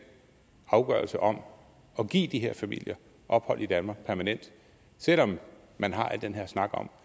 afgørelse om og give de her familier ophold i danmark permanent selv om man har al den her snak om